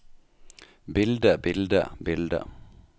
bildet bildet bildet